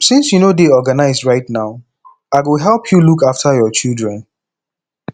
since you no dey organized right now i go help you look after your children